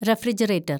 refrigerator‍